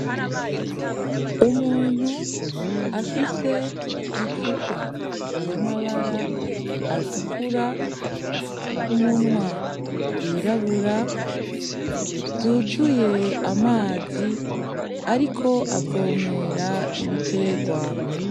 Umuntu afise icupa ry'amabara atukura, umunwa w'irabura ryuzuye amazi ariko avomera ibiterwa.